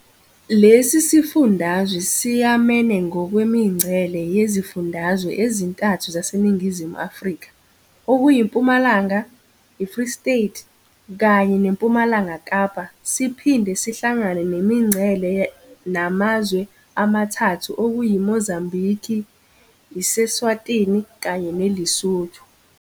Lesi sifundazwe siyamene ngokwemingcele nezifundazwe ezintathu zaseNingizimu Afrika okuyiMpumalanga, iFree State kanye neMpumalanga Kapa siphinde sihlangane nemingcele namazwe amathathu okuyi Mozambiki, iseSwatini kanye neLesotho.